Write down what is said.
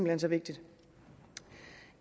hen så vigtigt